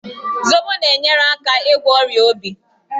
Zobo na-enyere aka ịgwọ ọrịa obi.